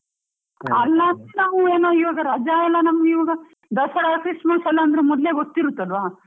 ಅಲ್ ಮತ್ತೆ ನಾವು ಏನೋ ಈವಾಗ ರಾಜಾ ಎಲ್ಲ ನಮ್ಗ್ ಈವಾಗ ದಸರಾ, Christmas ಎಲ ಮೊದ್ಲೇ ಗೊತ್ ಇರುತ್ತೆ ಅಲ್ವಾ.